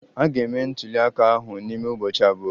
A ga-eme ntuli aka ahụ n'ime ụbọchị abụọ.